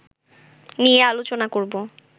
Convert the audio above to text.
নিয়ে আলোচনা করব